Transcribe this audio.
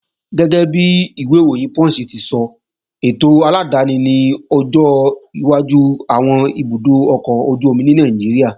Gẹ́gẹ́bi ìwé ìròyìn Punch ti sọ, ètò aládáni ni ọjọ́ iwájú àwọn ibùdó ọkọ̀ ojú-omi ní Nàìjíríà